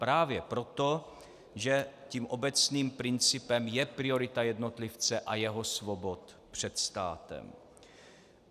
Právě proto, že tím obecným principem je priorita jednotlivce a jeho svobod před státem.